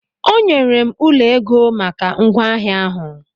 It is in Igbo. Onyere m ụlọ ego maka ngwaahịa ahụ.